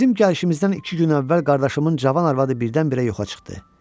Bizim gəlişimizdən iki gün əvvəl qardaşımın cavan arvadı birdən-birə yoxa çıxdı.